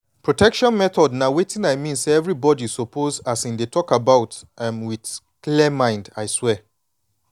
protection methods na wetin i mean say everybody suppose um dey talk about um with clear mind i swear